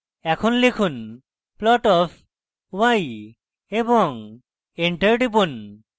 এখন লিখুন plot of y এবং enter টিপুন